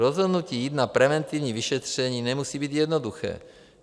Rozhodnutí jít na preventivní vyšetření nemusí být jednoduché.